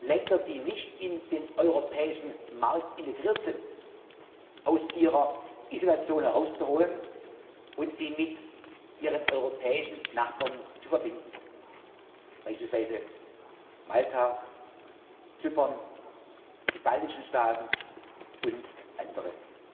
Länder, die nicht in den europäischen Markt integriert sind aus ihrer Isolation herauszuholen und sie mit ihren europäischen Nachbarn zu verbinden, beispielsweise Malta, Zypern, die baltischen Staaten und andere.